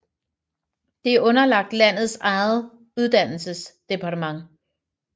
Det er underlagt landets eget uddannelsesdepartement